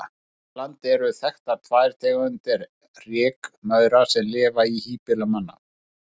Hér á landi eru þekktar tvær tegundir rykmaura sem lifa í híbýlum manna.